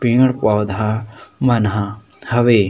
पेड़ -पौधा मन ह हवे।